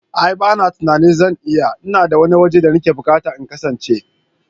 A'a bana tunanin zan iya, ina da wani wuri da nake bukata in kasance.